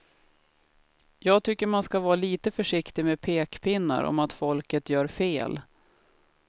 Jag tycker man ska vara lite försiktig med pekpinnar om att folket gör fel.